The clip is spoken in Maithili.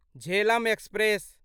झेलम एक्सप्रेस